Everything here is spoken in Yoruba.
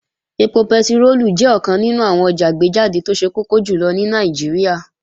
Ẹpo pẹtiróòlù jẹ́ ọ̀kan nínú àwọn ọjà àgbéjáde tó ṣe kókó jùlọ ní Nàìjíríà